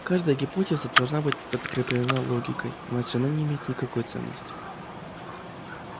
каждая гипотеза должна быть подкреплена логикой иначе она не имеет никакой ценности